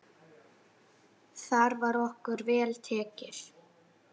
Þar var okkur vel tekið.